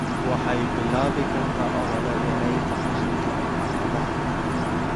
Waxay bilaabi kartaa olole yaraynta qashinka ee xaafadaha.